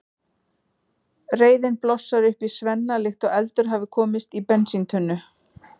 Reiðin blossar upp í Svenna líkt og eldur hafi komist í bensíntunnu.